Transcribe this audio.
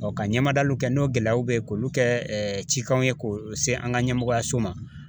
ka ɲɛmadaw kɛ n'o gɛlɛyaw bɛ ye k'olu kɛ cikanw ye k'o se an ka ɲɛmɔgɔyaso ma.